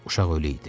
Uşaq ölü idi.